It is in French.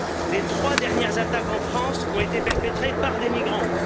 Les trois dernières attaques en France ont été perpétrées par des migrants.